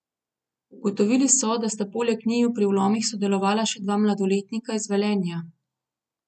Ugotovili so, da sta poleg njiju pri vlomih sodelovala še dva mladoletnika iz Velenja.